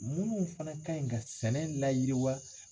Minnu fana kan ka sɛnɛ layiriwa